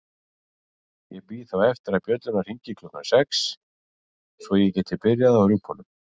Ég bíð þá eftir að bjöllurnar hringi klukkan sex svo ég geti byrjað á rjúpunum.